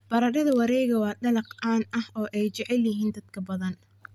Baradhada wareegga waa dalag caan ah oo ay jecel yihiin dad badan.